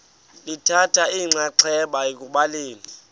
lithatha inxaxheba ekubhaleni